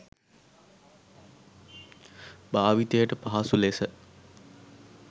භාවිතයට පහසු ලෙස